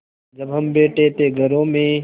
जब हम बैठे थे घरों में